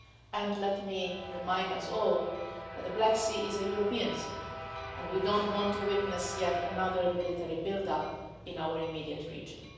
And let me remind us all that the Black Sea is a European sea and we do not want to witness yet another military build up in our immediate region.